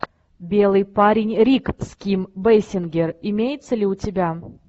белый парень рик с ким бейсингер имеется ли у тебя